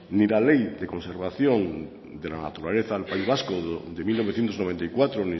ni la ley de conservación de la naturaleza al país vasco de mil novecientos noventa y cuatro